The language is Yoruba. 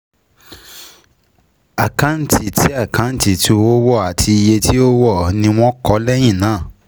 Àkáǹtì tí Àkáǹtì tí owó wọ̀ àti iye tí ó wọ̀ọ́ ni wọ́n kọ́ lẹ́yìn náà.